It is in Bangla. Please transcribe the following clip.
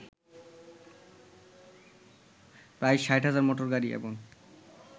প্রায় ৬০,০০০ মটোরগাড়ি এবং